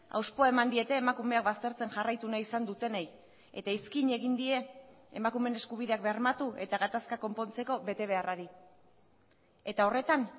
hauspoa eman diete emakumeak baztertzen jarraitu nahi izan dutenei eta iskin egin die emakumeen eskubideak bermatu eta gatazkak konpontzeko betebeharrari eta horretan